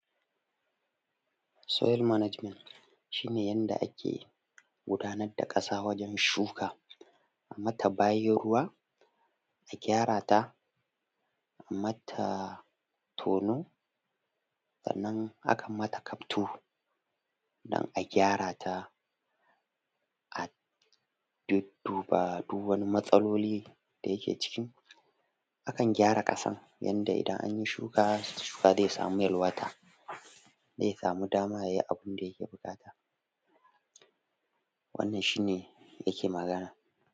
Soil management shi ne yanda ake gudanar da ƙasa wajen shuka, kuma ta bayan ruwa ta gyara ta kuma a yi mata tono Sannan akan mata kaftu dan a gyara ta a dudduba du wani matsaloli Akan gyara ƙasan yadda idan an yi shuka, shuka zai sama yalwata zai sama dama ya yi abun da yake bukata wannan shi ne yake magana